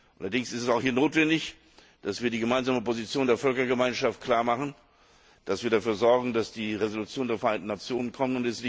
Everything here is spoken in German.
Allerdings ist es auch hier notwendig, dass wir die gemeinsame Position der Völkergemeinschaft klarmachen, dass wir dafür sorgen, dass die Resolution der Vereinten Nationen kommt.